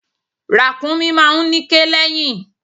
Ràkúnmí máa ń níké lẹ́yìn.